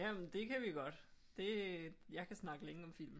Jamen det kan vi godt det jeg kan snakke længe om film